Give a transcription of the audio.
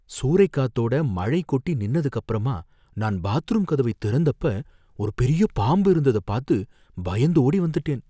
சூறை காத்தோட மழை கொட்டி நின்னதுக்கப்பரமா, நான் பாத்ரூம் கதவை திறந்தப்ப ஒரு பெரிய பாம்பு இருந்தத பாத்து பயந்து ஓடி வந்துட்டேன்.